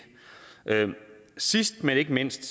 sidst men ikke mindst